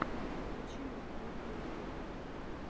включи мне трек инфинит